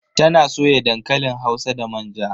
Ta na soya dankalin hausa da manja.